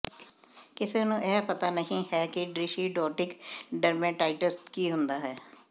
ਕਿਸੇ ਨੂੰ ਇਹ ਪਤਾ ਨਹੀਂ ਹੈ ਕਿ ਡਿਸ਼ਿਡ੍ਰੌਟਿਕ ਡਰਮੇਟਾਇਟਸ ਕੀ ਹੁੰਦਾ ਹੈ